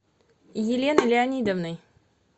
еленой леонидовной